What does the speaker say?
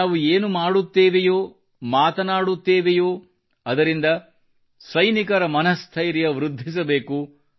ನಾವು ಏನು ಮಾಡುತ್ತೇವೆಯೋ ಮಾತನಾಡುತ್ತೇವೆಯೋ ಅದರಿಂದ ಸೈನಿಕರ ಮನಸ್ಥೈರ್ಯ ವೃದ್ಧಿಸಬೇಕು